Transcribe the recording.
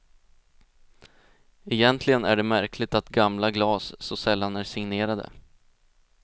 Egentligen är det märkligt att gamla glas så sällan är signerade.